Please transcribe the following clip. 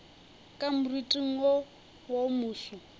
ka moriting wo wo moso